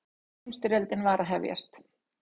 Fyrri heimsstyrjöldin var að hefjast.